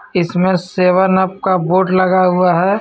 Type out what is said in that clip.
इसमें seven up का board लगा हुआ है.